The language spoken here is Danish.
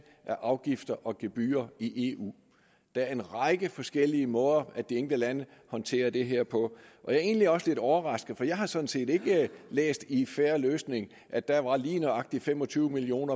af afgifter og gebyrer i eu der er en række forskellige måder de enkelte lande håndterer det her på jeg er egentlig også lidt overrasket for jeg har sådan set ikke læst i en fair løsning at der lige nøjagtig var fem og tyve million